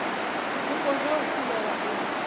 vhupo zwa u thivhela u